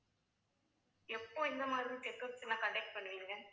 எப்போ இந்த மாதிரி check ups எல்லாம் conduct பண்ணுவீங்க